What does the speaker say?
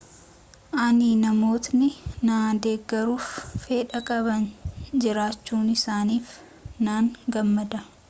ani namootni na deggeruuf fedha qaban jiraachuusaaniif nan gammada